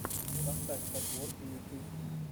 поставь подборки ютьюб